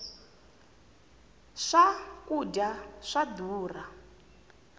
swa kudya swa durha